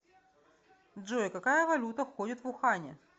джой какая валюта ходит в ухане